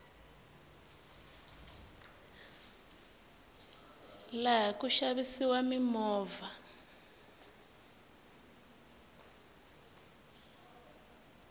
laha ku xavisiwa mimovha